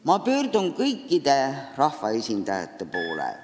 Ma pöördun kõikide rahvaesindajate poole.